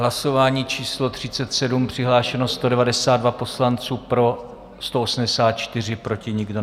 Hlasování číslo 37, přihlášeno 192 poslanců, pro 184, proti nikdo.